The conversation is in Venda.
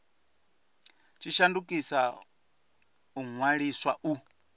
tshi shandukisa u ṅwaliswa u